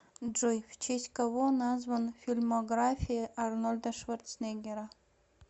джой в честь кого назван фильмография арнольда шварценеггера